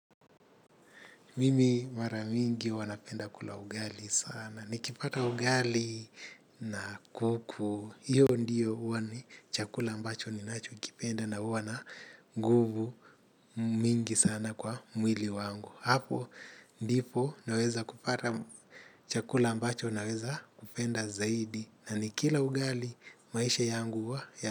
Mimi mara mingi huwa napenda kula ugali sana. Nikipata ugali na kuku. Hiyo ndiyo huwa ni chakula ambacho ninachokipenda na huwa na nguvu mingi sana kwa mwili wangu. Hapo, ndipo naweza kupata chakula ambacho naweza kupenda zaidi. Na nikila ugali maisha yangu huwa ya.